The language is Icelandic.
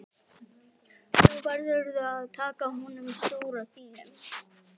Nú verðurðu að taka á honum stóra þínum!